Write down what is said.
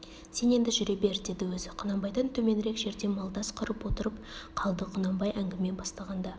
сен енді жүре бер деді өзі құнанбайдан төменірек жерде малдас құрып отырып қалды құнанбай әңгіме бастағанда